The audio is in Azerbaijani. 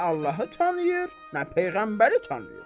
Nə Allahı tanıyır, nə peyğəmbəri tanıyır.